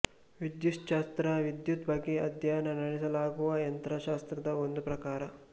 ವಿದ್ಯುಚ್ಛಾಸ್ತ್ರ ವಿದ್ಯುತ್ ಬಗ್ಗೆ ಅಧ್ಯಯನ ನಡೆಸಲಾಗುವ ಯಂತ್ರಶಾಸ್ತ್ರದ ಒಂದು ಪ್ರಕಾರ